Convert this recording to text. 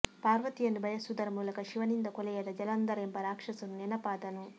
ಪಾರ್ವತಿಯನ್ನು ಬಯಸುವುದರ ಮೂಲಕ ಶಿವನಿಂದ ಕೊಲೆಯಾದ ಜಲಂಧರ ಎಂಬ ರಾಕ್ಷಸನೂ ನೆನಪಾದನು